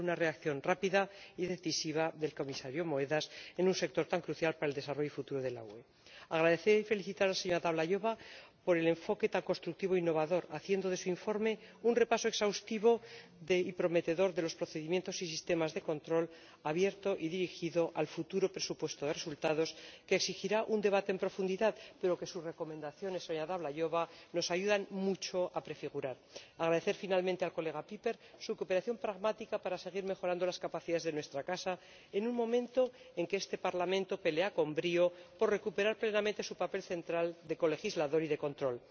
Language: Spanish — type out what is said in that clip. Espero una reacción rápida y decisiva del Comisario Moedas en un sector tan crucial para el desarrollo futuro de la UE. Quiero dar las gracias a la señora Dlabajová y felicitarla por el enfoque tan constructivo e innovador, que ha hecho de su informe un repaso exhaustivo y prometedor de los procedimientos y sistemas de control abierto, y dirigido al futuro presupuesto de resultados, que exigirá un debate en profundidad, pero que sus recomendaciones, señora Dlabajová, nos ayudan mucho a prefigurar. Por último, quisiera agradecer al señor Pieper su cooperación pragmática para seguir mejorando las capacidades de nuestra casa en un momento en el que este Parlamento pelea con brío por recuperar plenamente su papel central de colegislador y de control.